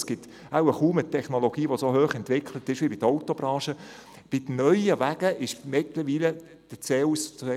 Es gibt wohl kaum eine so hoch entwickelte Technologie, wie das bei der Autobranche der Fall ist.